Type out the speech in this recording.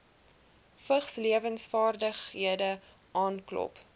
vigslewensvaardighede aanklop